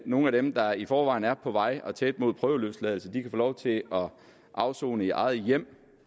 nogle af dem der i forvejen er på vej og tæt på prøveløsladelse kan få lov til at afsone i eget hjem